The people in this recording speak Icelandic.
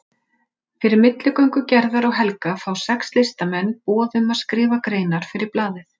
Fyrir milligöngu Gerðar og Helga fá sex listamenn boð um að skrifa greinar fyrir blaðið.